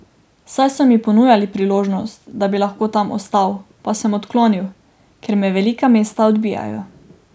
Saj so mi ponujali možnost, da bi lahko tam ostal, pa sem odklonil, ker me velika mesta odbijajo.